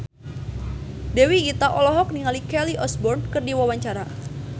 Dewi Gita olohok ningali Kelly Osbourne keur diwawancara